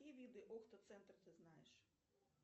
какие виды окто центр ты знаешь